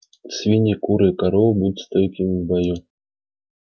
свиньи куры и коровы будут стойкими в бою